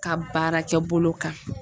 Ka baarakɛbolo kan.